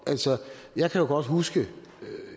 altså jeg kan jo godt huske